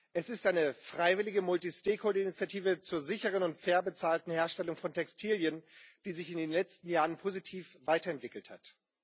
Es ist eine freiwillige multi stakeholding Initiative, zur sicheren und fair bezahlten Herstellung von Textilien, die sich in den letzten Jahren positiv weiterentwickelt hat.